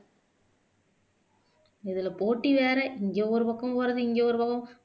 இதுல போட்டி வேற இங்க ஒரு பக்கம் போறது இங்க ஒரு பக்கம்